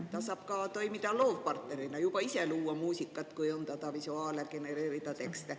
Ta saab toimida ka loovpartnerina: ise luua muusikat, kujundada visuaale, genereerida tekste.